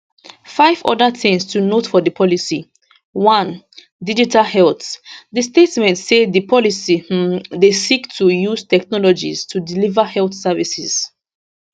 five oda tins to note for di policy 1 digital health di statement say di policy um dey seek to use technologies to deliver health services